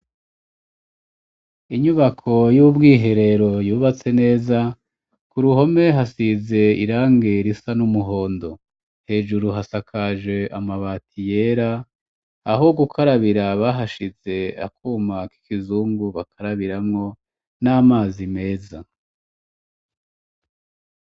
inyubako y'ubwiherero yubatse neza ku ruhome hasize irangi risa n'umuhondo hejuru hasakaje amabati yera aho gukarabira bahashize akuma k'ikizungu bakarabiramwo n'amazi meza